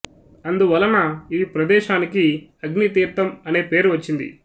అందు వలన ఈ ప్రదేశానికి అగ్నితీర్థం అనే పేరు వచ్చింది